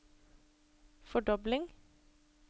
fordobling